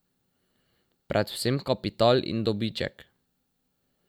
Predvsem kapital in dobiček.